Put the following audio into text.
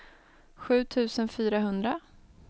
sju tusen fyrahundra